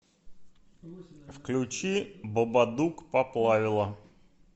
включи бабадук поплавило